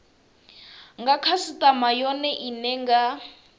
nga khasitama yone ine nga